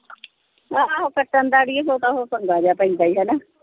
ਆਹੋ ਕੱਟਣ ਦਾ ਅੜੀਏ ਬਹੁਤਾ ਉਹ ਪੰਗਾ ਜੇਹਾ ਪੈਂਦਾ ਹੀ ਹਣਾ।